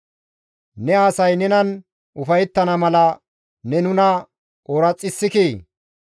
Ne asay nenan ufayettana mala, ne nuna ooraxissikii!